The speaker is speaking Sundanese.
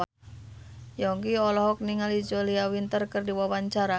Yongki olohok ningali Julia Winter keur diwawancara